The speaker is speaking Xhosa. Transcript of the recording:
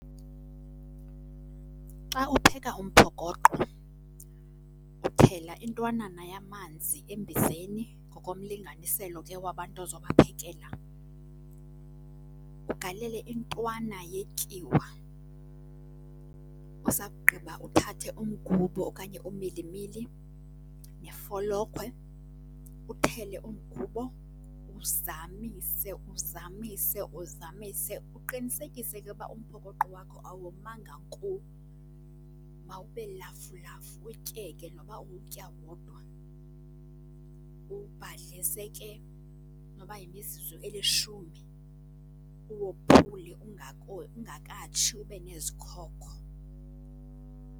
Xa upheka umphokoqo uthela intwanana yamanzi embizeni ngokomlinganiselo ke wabantu ozobaphekela, ugalele intwana yetyiwa, usakugqiba uthathe umgubo okanye umilimili nefolokhwe, uthele umgubo uzamise, uzamise, uzamise. Uqinisekise ke uba umphokoqo wakho awomanga nko, mawube lafulafu, utyeke noba uwutya wodwa. Uwubhadlise ke noba yimizuzu elishumi, uwophule ungakatshi ube nezikhokho.